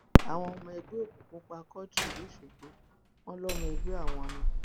àwọn ọmọ ẹgbẹ òkùnkùn pa quadri lọsọgbọ wọn lọmọ ẹgbẹ àwọn ni